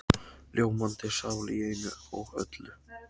Ljómandi sál í einu og öllu.